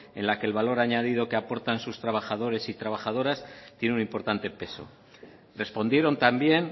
en la que el valor añadido que aportan sus trabajadores y trabajadoras tiene un importante peso respondieron también